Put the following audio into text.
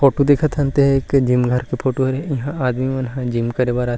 Photo दिखत हन ते ह एक जिम घर के फोटो हे इहा आदमी मन ह जिम करे बर आथे।